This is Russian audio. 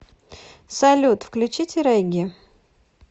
салют включите регги